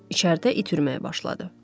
İçəridə itürməyə başladı.